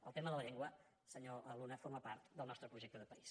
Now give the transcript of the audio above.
el tema de la llengua senyor luna forma part del nostre projecte de país